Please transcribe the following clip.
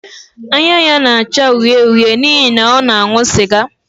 Anya ya na-acha uhie uhie n’ihi na ọ na-aṅụ sịga